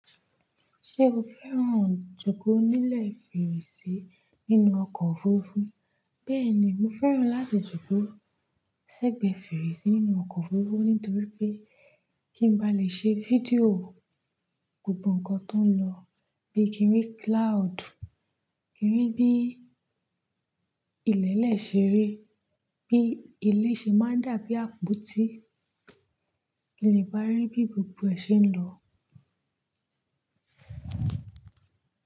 Ṣé o fẹ́ràn jókòó nílẹ̀ fèrèsé nínú ọkọ̀ òfurufú? Bẹ́ẹ̀ni, mo fẹ́ràn láti jókòó sẹ́gbẹ̀ẹ́ fèrèsé nínú ọkọ̀ òfurufú nítorí pé kí n ba lè ṣe fídíò gbogbo ǹkan tó ń lọ, bí i kí n rí cloud, kí n rí bí ilẹ̀ lè ṣeré, bí ilé ṣe máa ń dàbí àpótí, kí le ba rí bí gbogbo ẹ̀ ṣe ń lọ.